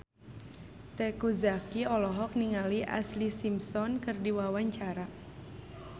Teuku Zacky olohok ningali Ashlee Simpson keur diwawancara